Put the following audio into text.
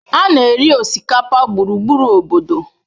A na-eri osikapa gburugburu obodo